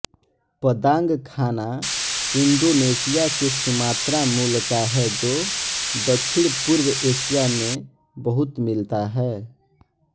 पदांग खाना इंडोनेशिया के सुमात्रा मूल का है जो दक्षिणपूर्व एशिया में बहुत मिलता है